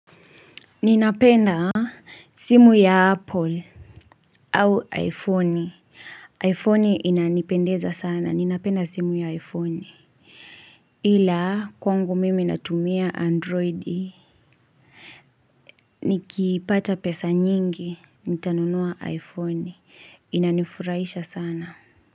Ninapenda simu ya apple au iphone iphone inanipendeza sana ninapenda simu ya iphone ila kwangu mimi natumia android nikipata pesa nyingi nitanunua iphone inanifurahisha sana.